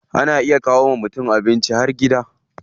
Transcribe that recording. Ana iya kawo wa mutum abincin har gida.